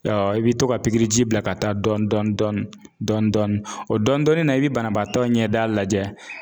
I bi to ka bila ka taa dɔɔnin dɔɔnin dɔɔnin dɔɔnin dɔɔnin dɔɔnin o dɔɔnin na i bi banabaatɔ ɲɛda lajɛ.